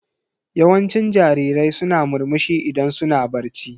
Yawancin jarirai suna murmushi idan suna barci.